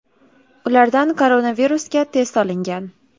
Ulardan koronavirusga test olingan.